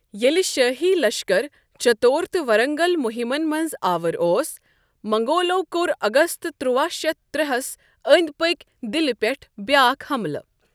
ییٚلہ شٲہی لشکر چتور تہٕ ورنگل مہمن منٛز آوُر اوس، منگولو کوٚر اگست تُرواہ شیتھ ترٚے ہَس اندِ پٕكہِ دلہ پٮ۪ٹھ بیٛاکھ حَملہٕ۔